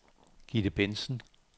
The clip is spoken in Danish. Gitte Bentzen